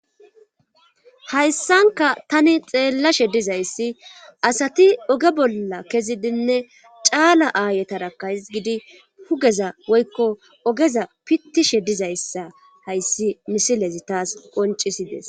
Hayssanka tani xeellashe dizayssi asati oge bolla kezidinne caala aayetarakahigidi hugeza woykko ogeza pittishe dizayssa hayssi misilezi taas qoncisides.